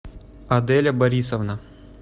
аделя борисовна